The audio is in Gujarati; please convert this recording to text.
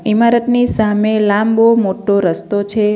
ઇમારતની સામે લાંબો મોટો રસ્તો છે.